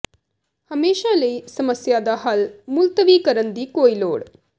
ਹਮੇਸ਼ਾ ਲਈ ਸਮੱਸਿਆ ਦਾ ਹੱਲ ਮੁਲਤਵੀ ਕਰਨ ਦੀ ਕੋਈ ਲੋੜ